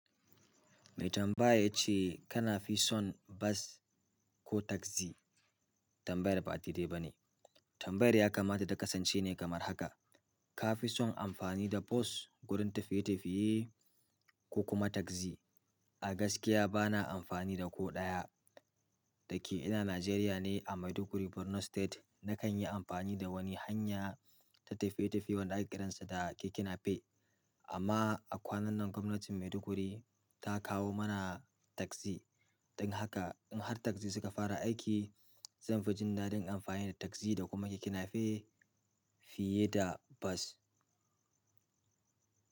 Mai tambaya ya ce kana fi son bas ko tagzi? Tambayar ba a daidai ba ne. Tambayar ya kamata ta kasance ne kamar haka, ka fi son amfani da bus gurin tafiye-tafiye ko kuma tagzi? A gaskiya ba na amfani da ko ɗaya. Da ke ina Najeriya ne a Maiduguri Borno State. Nakan yi amfani da wani hanya ta tafiye-tafiye wanda ake kiransa da keke nape. Amma a kwanan nan gwamnatin Maiduguri ta kawo mana tagzi. Don haka in har tagzi suka fara aiki, zan fi jin daɗin amfani da tagzi da kuma keke nape fiye da bas.